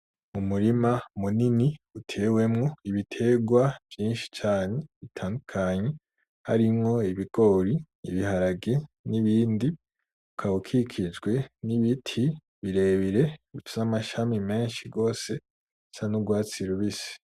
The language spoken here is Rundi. Umurima munini utewemwo ibiterwa vyishi cane bitandukanye harimwo ibigori, ibiharagi n'ibindi ukaba ukikijwe n'ibiti birebire bifise amashami meshi gose asa n'urwatsi rubisi.